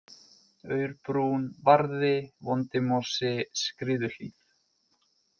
Aurbrún, Varði, Vondimosi, Skriðuhlíð